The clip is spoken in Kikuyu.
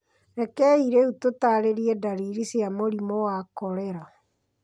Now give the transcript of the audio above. Rekei rĩu tũtaarĩrie ndariri cia mũrimũ wa korera.